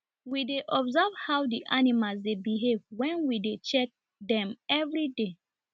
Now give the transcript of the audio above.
we dey observe how the animals dey behave wen we dey check dem everyday